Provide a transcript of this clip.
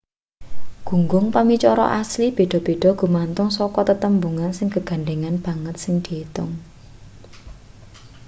gunggung pamicara asli beda-beda gumantung saka tetembungan sing gegandhengan banget sing diitung